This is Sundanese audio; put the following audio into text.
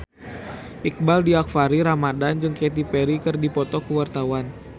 Iqbaal Dhiafakhri Ramadhan jeung Katy Perry keur dipoto ku wartawan